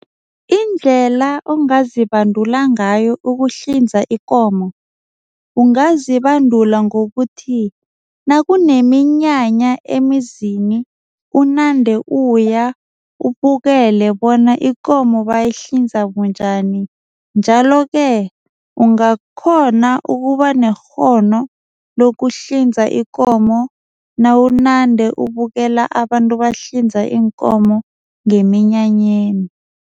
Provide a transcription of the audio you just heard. Indlela ongazibandula ngayo ukuhlinza ikomo. Ungazibandula ngokuthi nakuneminyanya emizini unande uya ubukele bona ikomo bayihlinza bunjani. Njalo-ke ungakghona ukuba nekghono lokuhlinza ikomo nawunande ubukela abantu bahlinza iinkomo ngeminyanyeni.